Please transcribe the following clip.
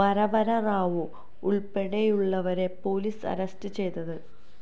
വരവര റാവു ഉള്പ്പെടെയുള്ളവരെ police arrest ചെയ്തത്